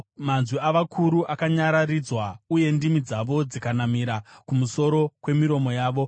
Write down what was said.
manzwi avakuru akanyararidzwa, uye ndimi dzavo dzikanamira kumusoro kwemiromo yavo.